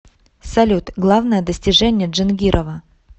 салют главное достижение джангирова